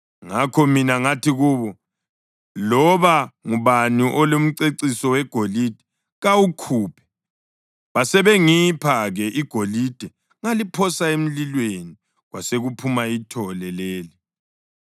Ngakho mina ngathi kubo, ‘Loba ngubani olomceciso wegolide kawukhuphe.’ Basebengipha-ke igolide ngaliphosa emlilweni, kwasekuphuma ithole leli.”